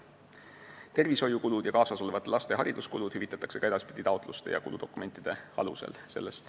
Tervishoiukulud ja kaasas olevate laste hariduskulud hüvitatakse ka edaspidi taotluste ja kuludokumentide alusel.